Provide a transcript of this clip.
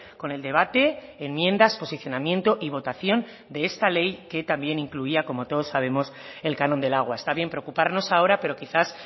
con el debate enmiendas posicionamiento y votación de esta ley que también incluía como todos sabemos el canon del agua está bien preocuparnos ahora pero quizás